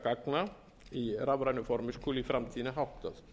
landupplýsingagagna í rafrænu formi skuli í framtíðinni háttað